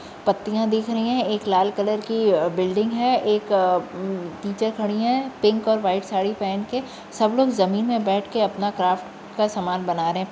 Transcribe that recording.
पत्तिया दिख रही है एक लाल कलर की बिल्डिंग है । एक टीचर खड़ी है पिंक और व्हाइट साड़ी पहेन कर सब लोग जमीन पर बैठ कर आपना क्राफ्ट का समान बना रहे है ।